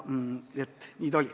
Nii see oli.